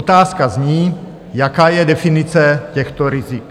Otázka zní: Jaká je definice těchto rizik?